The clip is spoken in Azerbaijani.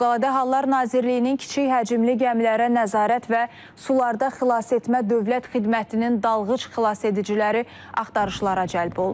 Fövqəladə Hallar Nazirliyinin kiçik həcmli gəmilərə nəzarət və sularda xilasetmə dövlət xidmətinin dalğıc xilasediciləri axtarışlara cəlb olunub.